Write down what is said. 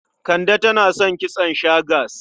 Kande tana son kitson shags.